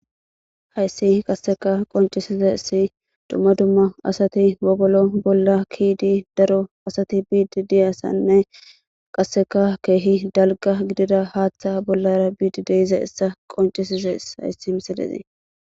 Hays qaseka qoncisizays dumma dumma asati wogolo bola ke'id daro asati biid diyaysanne qaseka keeh dalga gidida haata bolara biid de'iyayisa concises.